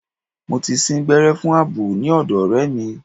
Mo ti sín gbẹ́rẹ́ fún àbò ní ọ̀dọ̀ ọ̀rẹ́ mi.